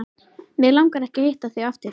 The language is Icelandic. Mig langar ekki að hitta þig aftur.